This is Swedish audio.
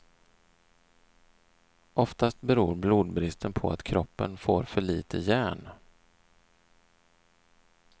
Oftast beror blodbristen på att kroppen får för lite järn.